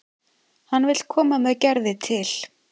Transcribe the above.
Hann vill koma með Gerði til